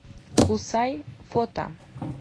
кусай фото